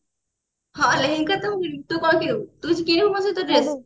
ହଁ ଲେହେଙ୍ଗା ତ ମୁଁ କିଣିବି ତୁ କଣ କିଣିବୁ ତୁ କିଛି କିଣିବୁ ମୋ ସହିତ dress